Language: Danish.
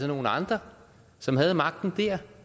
nogle andre som havde magten der